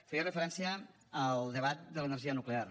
feia referència al debat de l’energia nuclear